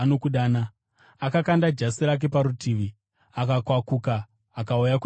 Akakanda jasi rake parutivi, akakwakuka akauya kuna Jesu.